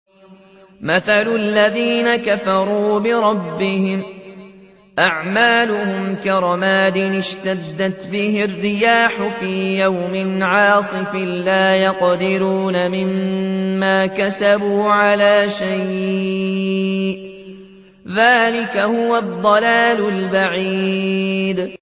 مَّثَلُ الَّذِينَ كَفَرُوا بِرَبِّهِمْ ۖ أَعْمَالُهُمْ كَرَمَادٍ اشْتَدَّتْ بِهِ الرِّيحُ فِي يَوْمٍ عَاصِفٍ ۖ لَّا يَقْدِرُونَ مِمَّا كَسَبُوا عَلَىٰ شَيْءٍ ۚ ذَٰلِكَ هُوَ الضَّلَالُ الْبَعِيدُ